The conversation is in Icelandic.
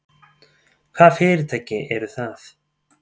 Hvaða fyrirtæki eru það?